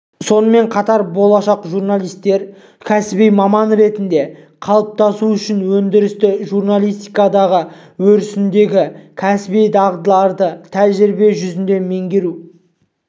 сонымен қатар болашақ журналистер кәсіби маман ретінде қалыптасу үшін өндірістік журналистикадағы өрісіндегі кәсіби дағдыларды тәжірибе жүзінде меңгеру